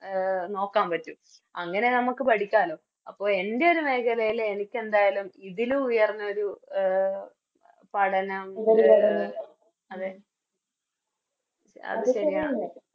A നോക്കാൻ പറ്റും അങ്ങനെ നമുക്ക് പഠിക്കാലോ അപ്പൊ എൻറെയൊരു മേഖലയില് എനിക്കെന്തായാലും ഇതിലും ഉയർന്നൊരു എ പഠനം അതെ